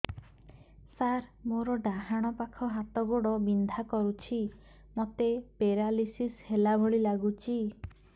ସାର ମୋର ଡାହାଣ ପାଖ ହାତ ଗୋଡ଼ ବିନ୍ଧା କରୁଛି ମୋତେ ପେରାଲିଶିଶ ହେଲା ଭଳି ଲାଗୁଛି